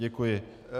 Děkuji.